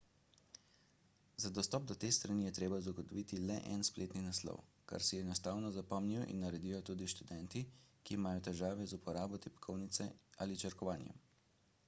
za dostop do te strani je treba zagotoviti le en spletni naslov kar si enostavno zapomnijo in naredijo tudi študenti ki imajo težave z uporabo tipkovnice ali črkovanjem